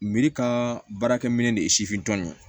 ka baarakɛminɛ de ye sifin tɔn ye